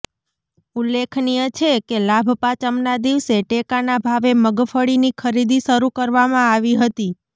ઉલ્લેખનીય છે કે લાભપાંચમના દિવસે ટેકાના ભાવે મગફળીની ખરીદી શરૂ કરવામાં આવી હતી